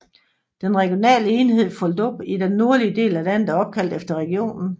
Den regionale enhed Rhodope i den nordlige del af landet er opkaldt efter regionen